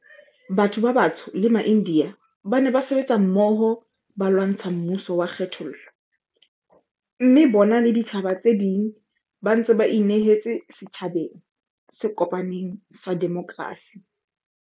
Batho ba batsho le maIndiya ba ne ba sebetsa mmoho ba lwantsha mmuso wa kgethollo, mme bona le ditjhaba tse ding ba ntse ba inehetse setjhabeng se kopaneng sa demokrasi.